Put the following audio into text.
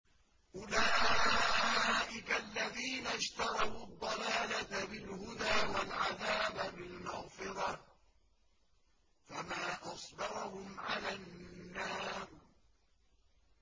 أُولَٰئِكَ الَّذِينَ اشْتَرَوُا الضَّلَالَةَ بِالْهُدَىٰ وَالْعَذَابَ بِالْمَغْفِرَةِ ۚ فَمَا أَصْبَرَهُمْ عَلَى النَّارِ